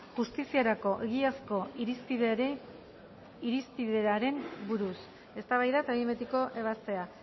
justiziarako egiazko irispideari buruz eztabaida eta behin betiko ebazpena